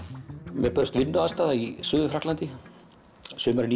mér bauðst vinnuaðstaða í Suður Frakklandi sumarið